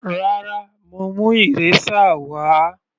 Rárá, mo mú eraser wà á.